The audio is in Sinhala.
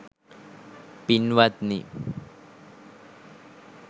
පින්වත්නි,